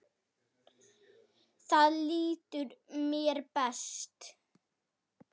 Þar líður mér best.